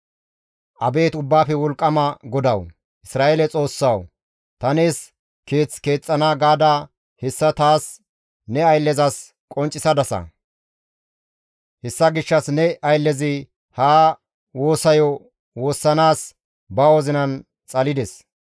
«Abeet Ubbaafe Wolqqama GODAWU, Isra7eele Xoossawu, ‹Ta nees keeth keexxana› gaada hessa taas ne ayllezas qonccisadasa. Hessa gishshas ne ayllezi ha woosayo woossanaas ba wozinan xalides.